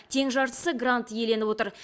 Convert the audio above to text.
тең жартысы грант иеленіп отыр